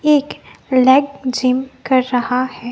एक leg gym कर रहा है।